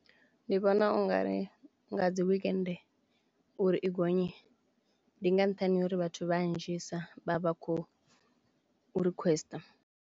Ndi vhona ungari nga dzi wekende uri i gonye ndi nga nṱhani ho uri vhathu vhanzhisa vha vha khou requester.